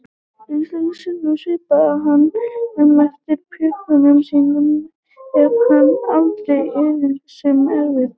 Einstaka sinnum svipaðist hann um eftir pjönkum sínum en hafði aldrei erindi sem erfiði.